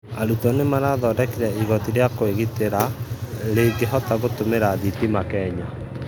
Arũtwo nĩmarathondekĩre ĩgotĩ rĩa kwĩgĩtĩra rĩngĩhota gũtũmĩra thĩtĩma Kenya